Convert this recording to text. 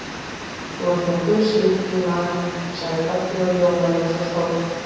Þú ert með Guðsríki í maganum, sagði Doddi og ljómaði eins og sól.